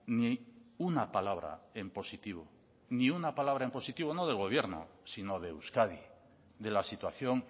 ni una palabra en positivo ni una palabra en positivo no del gobierno sino de euskadi de la situación